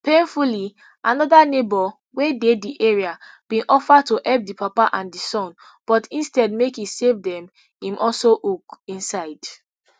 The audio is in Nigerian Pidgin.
painfully anoda neighbour wey dey di area bin offer to help di papa and son but instead make e save dem im also hook inside